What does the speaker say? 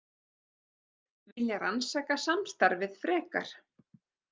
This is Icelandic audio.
Vilja rannsaka samstarfið frekar